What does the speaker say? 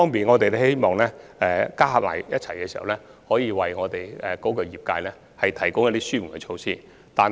我們希望透過推行各項措施，可以為業界提供一些紓緩。